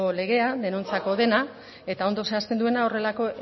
legea denuntziako dena eta ondo zehazten duena horrelako